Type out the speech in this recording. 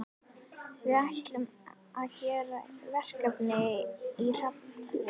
Við ætlum að gera verkefni í Hafnarfirði.